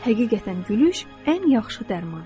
Həqiqətən gülüş ən yaxşı dərman.